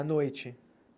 À noite?